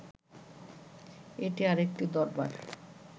এটি আর একটি দরবার